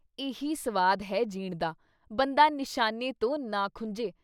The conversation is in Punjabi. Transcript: ਇਹੀ ਸਵਾਦ ਹੈ ਜੀਣ ਦਾ, ਬੰਦਾ ਨਿਸ਼ਾਨੇ ਤੋਂ ਨਾ ਖੁੰਝੇ।